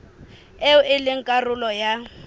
eo e leng karolo ya